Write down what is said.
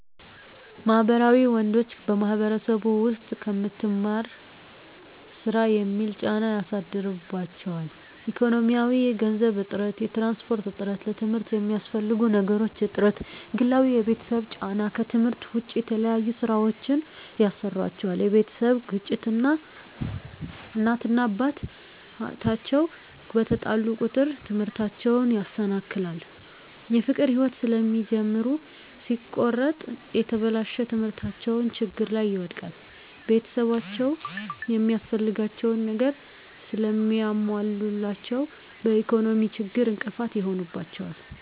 ማህበራዊ ወንዶች በማህበረሰቡ ዉስጥ ከምትማር ስራ የሚል ጫና ያሳድሩባቸዋል። ኢኮኖሚያዊ የገንዘብ እጥረት፣ የትራንስፖርት እጥረት፣ ለትምርት የሚያስፈልጉ ነገሮች እጥረት፣ ግላዊ የቤተሰብ ጫና ከትምህርት ዉጭ የተለያዩ ስራወችን ያሰሩአቸዋል የቤተሰብ ግጭት እናት እና አባት አቸዉ በተጣሉ ቁጥር ትምህርታቸዉን ያሰናክላል። የፍቅር ህይወት ስለሚጀምሩ ሲቆረጥ የተበላሸ ትምህርታቸዉን ችግር ላይ ይወድቃል። ቤተሰብአቸዉ የሚያስፈልጋቸዉን ነገር ስለማያሞሉላቸዉ በኢኮኖሚ ችግር እንቅፋት ይሆንባቸዋል።